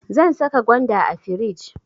Zan saka gwanda a firij.